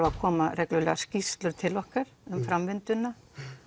að koma reglulega skýrslur til okkar um framvinduna